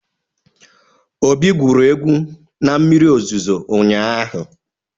Obi gwuru egwu na mmiri ozuzo ụnyaahụ.